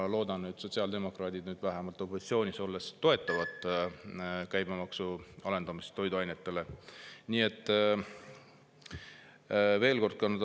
Ma loodan, et sotsiaaldemokraadid nüüd opositsioonis olles toetavad vähemalt toiduainete käibemaksu alandamist.